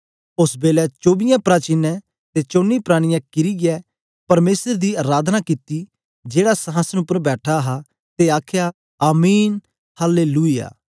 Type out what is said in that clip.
ओस बेलै चोबीसें प्राचीनें ते चौनी प्राणियें किरीयै परमेसर गी अराधना कित्ता जेड़ा संहासन उपर बैठा हा ते आखया आमीन हल्लेलुयाह